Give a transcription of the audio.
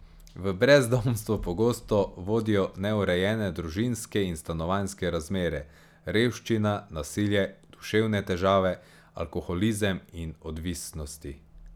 V brezdomstvo pogosto vodijo neurejene družinske in stanovanjske razmere, revščina, nasilje, duševne težave, alkoholizem in odvisnosti.